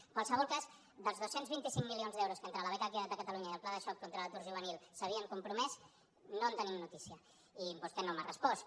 en qualsevol cas dels dos cents i vint cinc milions d’euros que entre la beca queda’t a catalunya i el pla de xoc contra l’atur juvenil s’havien compromès no en tenim notícia i vostè no m’ha respost